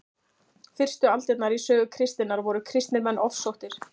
fyrstu aldirnar í sögu kristninnar voru kristnir menn ofsóttir